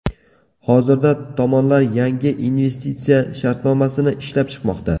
Hozirda tomonlar yangi investitsiya shartnomasini ishlab chiqmoqda.